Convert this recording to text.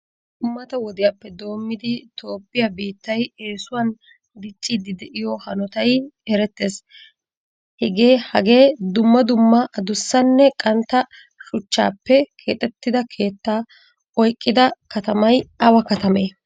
Mata wodiyappe doomidi toophphiyaa biittay esuwan diccidi deiyo hanottay eretees. Hagee dumma dumma addussane qantta shuchchappe keexettida keetta oyqqida katamay awa kattame?